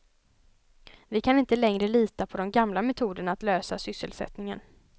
Vi kan inte längre lita på de gamla metoderna att lösa sysselsättningen.